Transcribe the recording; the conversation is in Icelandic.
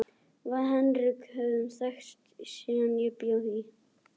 Við Henrik höfum þekkst síðan ég bjó í